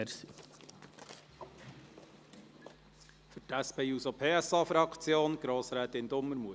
Für die SP-JUSO-PSA-Fraktion: Grossrätin Dumermuth.